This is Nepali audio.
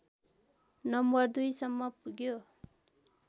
नम्बर २ सम्म पुग्यो